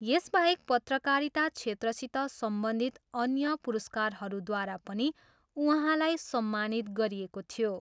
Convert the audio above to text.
यसबाहेक पत्रकारिता क्षेत्रसित सम्बन्धित अअन्य पुरस्कारहरूद्वारा पनि उहाँलाई सम्मानित गरिएको थियो।